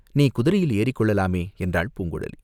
"நீ குதிரையில் ஏறிக்கொள்ளலாமே?" என்றாள் பூங்குழலி.